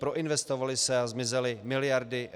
Proinvestovaly se a zmizely miliardy.